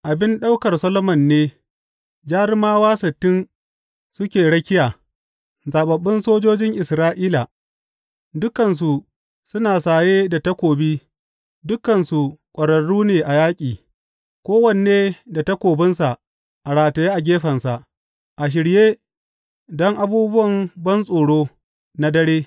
Abin ɗaukar Solomon ne, jarumawa sittin suke rakiya, zaɓaɓɓun sojojin Isra’ila, dukansu suna saye da takobi dukansu ƙwararru ne a yaƙi, kowanne da takobinsa a rataye a gefensa, a shirye don abubuwan bantsoro na dare.